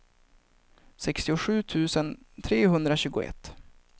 sextiosju tusen trehundratjugoett